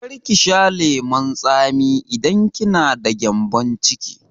Kar ki sha lemun tsami idan kina da gyambon ciki!